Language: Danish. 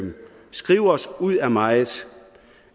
skrive os ud af meget